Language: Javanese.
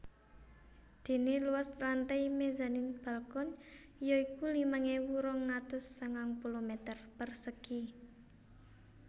Dene luas lantai mezanin balkon ya iku limang ewu rong atus sangang puluh meter persegi